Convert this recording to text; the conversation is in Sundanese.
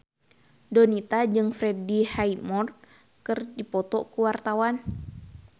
Donita jeung Freddie Highmore keur dipoto ku wartawan